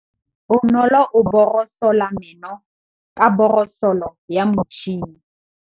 Bonolô o borosola meno ka borosolo ya motšhine.